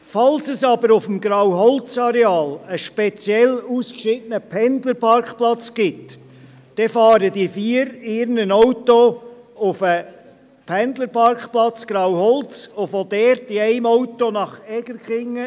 Falls es aber auf dem Grauholzareal einen speziell ausgeschiedenen Pendlerparkplatz gibt, dann fahren die vier in ihren Autos auf den Pendlerparkplatz Grauholz und von dort an in einem Auto nach Egerkingen.